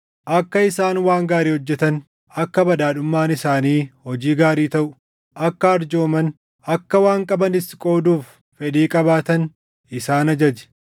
Akka isaan waan gaarii hojjetan, akka badhaadhummaan isaanii hojii gaarii taʼu, akka arjooman, akka waan qabanis qooduuf fedhii qabaatan isaan ajaji.